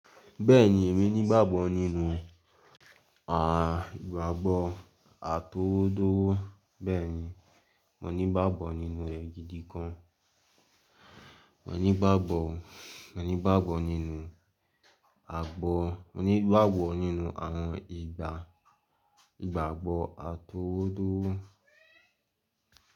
Bẹ́ẹ̀ni, èmi ní ìgbàgbọ́ nínú àìgbàgbọ́ àtowódó. Bẹ́ẹ̀ni, mo ní ìgbàgbọ́ nínú re gidi gan. Mo ní ìgbàgbọ́, mo ní ìgbàgbọ́ nínú àgbo, mo ní ìgbàgbọ́ nínú àwọn ìgbà ìgbàgbọ́ àtowódó.